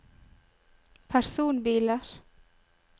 personbiler